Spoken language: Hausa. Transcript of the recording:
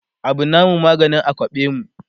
Abu namu maganin a kwaɓe mu